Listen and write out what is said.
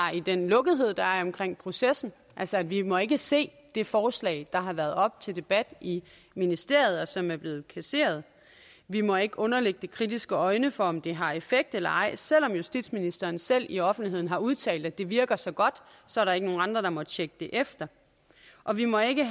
i den lukkethed der er omkring processen altså vi må ikke se det forslag der har været oppe til debat i ministeriet og som er blevet kasseret vi må ikke underlægge det kritiske øjne for om det har effekt eller ej selv om justitsministeren selv i offentligheden har udtalt at det virker så godt så er der ikke nogen andre der må tjekke det efter og vi må ikke